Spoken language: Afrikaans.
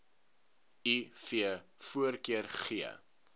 iv voorkeur gee